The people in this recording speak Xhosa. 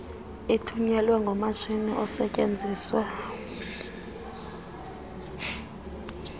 ithunyelwe ngomatshini osetyenziswa